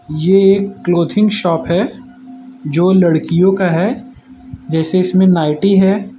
ये एक clothing shop है जो लड़कियों का है जैसे इसमें नाइटी है।